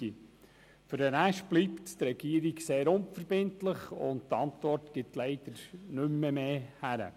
Für den Rest bleibt die Regierung sehr unverbindlich, und die Antwort gibt leider nicht mehr her.